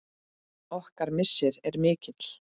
Okkar missir er mikill.